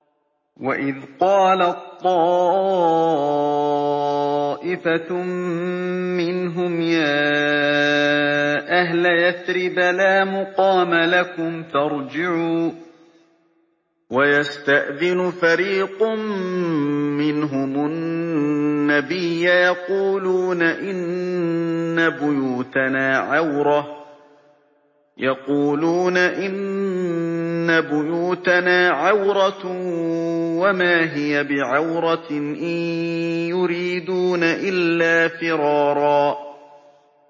وَإِذْ قَالَت طَّائِفَةٌ مِّنْهُمْ يَا أَهْلَ يَثْرِبَ لَا مُقَامَ لَكُمْ فَارْجِعُوا ۚ وَيَسْتَأْذِنُ فَرِيقٌ مِّنْهُمُ النَّبِيَّ يَقُولُونَ إِنَّ بُيُوتَنَا عَوْرَةٌ وَمَا هِيَ بِعَوْرَةٍ ۖ إِن يُرِيدُونَ إِلَّا فِرَارًا